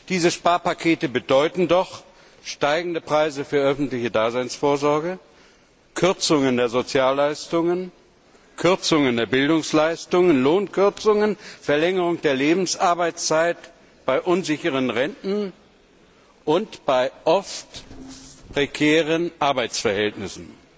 Diese Sparpakete bedeuten doch steigende Preise für öffentliche Daseinsvorsorge, Kürzungen der Sozialleistungen, Kürzungen der Bildungsleistungen, Lohnkürzungen, Verlängerung der Lebensarbeitszeit bei unsicheren Renten und bei oft prekären Arbeitsverhältnissen.